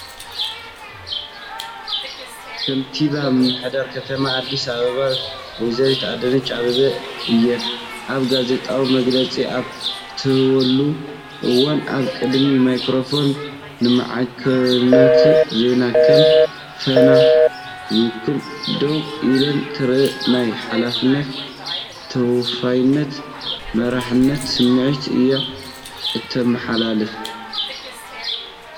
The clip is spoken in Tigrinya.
ከንቲባ ምምሕዳር ከተማ ኣዲስ ኣበባ ወይዘሮ ኣዳነች ኣበበ እየን። ኣብ ጋዜጣዊ መግለጺ ኣብ እትህልወሉ እዋን፡ ኣብ ቅድሚ ማይክሮፎናት ንማዕከናት ዜና (ከም ፋና) ዝውክሉ ደው ኢላ ትረአ። ናይ ሓላፍነትን ተወፋይነትን መሪሕነትን ስምዒት እያ እተመሓላልፍ።